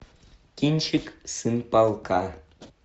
кинчик сын полка